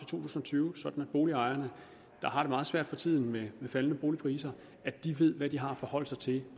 tusind og tyve sådan at boligejerne der har det meget svært for tiden med faldende boligpriser ved hvad de har at forholde sig til